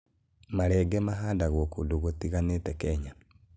Marenge mahandagwo kũndũ gũtiganĩte Kenya.